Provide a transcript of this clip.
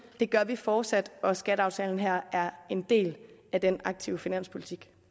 det gør vi fortsat og skatteaftalen her er en del af den aktive finanspolitik